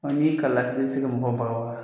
n'i y'i kala lafili i bɛ se ka mɔgɔw baga baga.